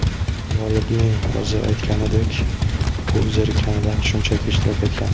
G‘olibning o‘zi aytganidek, u zerikkanidan, shunchaki ishtirok etgan.